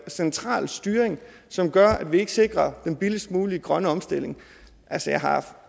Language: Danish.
central styring som gør at vi ikke sikrer den billigst mulige grønne omstilling altså jeg har